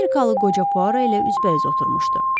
Amerikalı qoca Puaro ilə üzbəüz oturmuşdu.